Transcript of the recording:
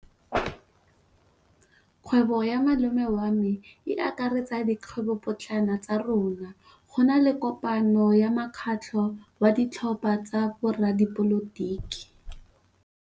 Kgwêbô ya malome wa me e akaretsa dikgwêbôpotlana tsa rona. Go na le kopanô ya mokgatlhô wa ditlhopha tsa boradipolotiki.